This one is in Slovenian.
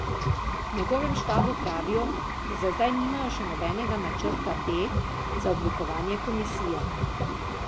V njegovem štabu pravijo, da za zdaj nimajo še nobenega načrta B za oblikovanje komisije.